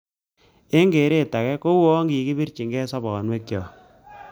Eng keret ake kouyo kikibirchinikei sobonwekchok